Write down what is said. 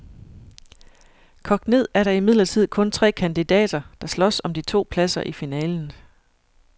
Kogt ned er der imidlertid kun tre kandidater, der slås om de to pladser i finalen.